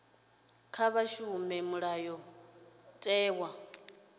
kha vha shumise mulayotewa u